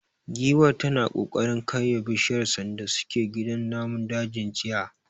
Giwar tana kokarin karya bishiyar sanda suke gidan namun dajin jiya.